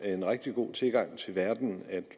rigtig god tilgang til verden at